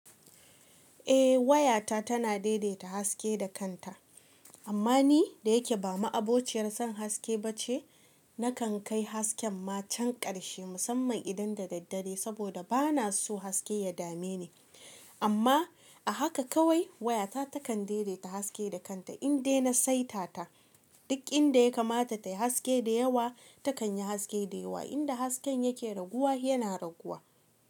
Eh wayata tana daidaita haske da kanta. Amma ni da yake ba ma'abociyar son haske ba ce, na kan kai hasken ma can karshe musamman idan da daddare saboda ba na so haske ya dame ni. Amma a haka kawai wayata takan daidaita haske da kanta in dai na saita ta. Duk inda ya kamata tayi haske da yawa takan yi haske da yawa, inda hasken yake raguwa yana raguwa.